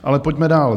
Ale pojďme dál.